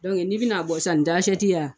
Dɔnki n'i bɛna a bɔ san, bin tɛ asɛti y'a